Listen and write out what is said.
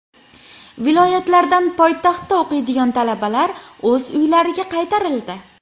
Viloyatlardan poytaxtda o‘qiydigan talabalar o‘z uylariga qaytarildi .